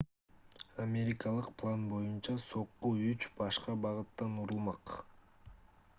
америкалык план боюнча сокку үч башка багыттан урулмак